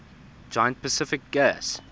giant pacific gas